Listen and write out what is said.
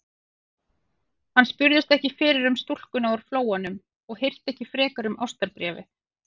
Hann spurðist ekki fyrir um stúlkuna úr Flóanum og hirti ekki frekar um ástarbréfið.